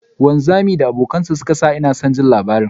Wanzamin da abokan ciniki suka shija wata janche da ya sa inason jin labarin.